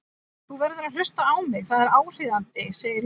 Þú verður að hlusta á mig, það er áríðandi, sagði Lúna.